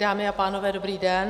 Dámy a pánové, dobrý den.